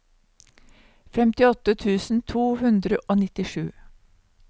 femtiåtte tusen to hundre og nittisju